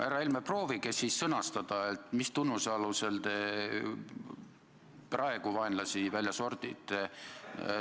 Härra Helme, proovige siis sõnastada, mis tunnuse alusel te praegu vaenlasi välja sordite.